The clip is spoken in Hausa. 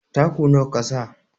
Taku nawa kasa?